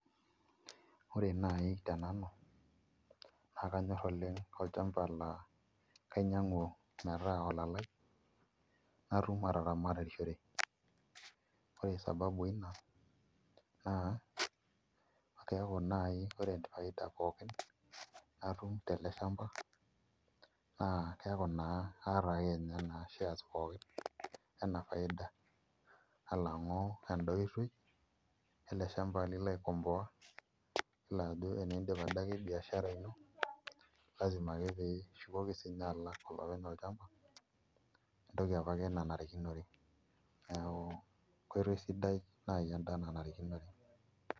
Ore naai tenanu naa kanyorr oleng' olchamba laa kainyiang'u metaa olalai natum ataramatishore ore sababu ina naa keeku naai ore sababu pookin natum tele shamba naa keeku naa kaata ake ninye shares pookin enaa faida alang'u endaoitoi ele shamba lilo aikomboa iyiolo ajoeniidip adake biashara ino lasima ake pee intoki sininye alak olopeny olchamba entoki apake nanarikinore, neeku enkoitoi sidai naai enda nanarikinore.